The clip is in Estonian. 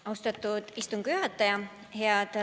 Austatud istungi juhataja!